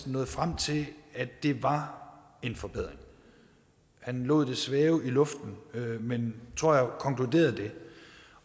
nåede frem til at det var en forbedring han lod det svæve i luften men tror jeg konkluderede det